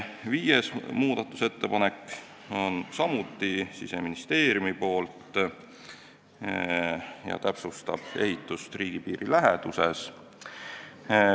Viies muudatusettepanek on samuti Siseministeeriumilt ja täpsustab ehitamist riigipiiri läheduses.